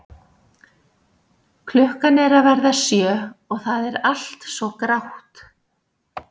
Klukkan er að verða sjö og það er allt svo grátt.